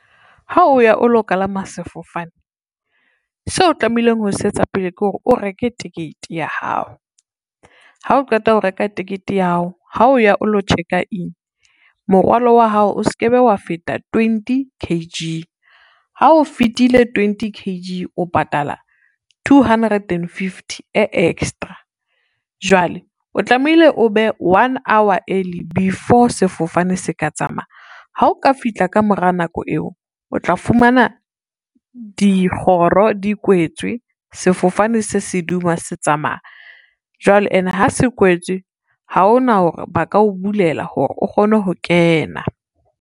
Ha o ya o lo kalama sefofane seo o tlamehileng ho se etsa pele ke hore, o reke tekete ya hao, ha o qeta ho reka tekete ya hao, ha o ya o lo check-a in, morwalo wa hao o se ke be wa feta twenty kg, ha o fitile twenty kg o patala two hundred and fifty e extra. Jwale o tlamehile o be one hour early before sefofane se ka tsamaya, ha o ka fihla ka mora nako eo o tla fumana dikgoro di kwetswe, sefofane se seduma se tsamaya, jwale ene ha se kwetswe ha hona hore ba ka o bulela hore o kgone ho kena.